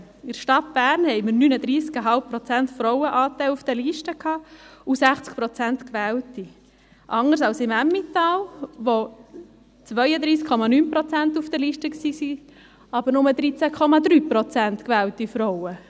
In der Stadt Bern hatten wir auf den Listen einen Frauenanteil von 39,5 Prozent und 60 Prozent gewählte, anders als im Emmental, wo 32,9 Prozent auf den Listen waren, aber nur 13,3 Prozent Frauen gewählt wurden.